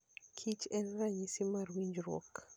kich en ranyisi mar winjruok.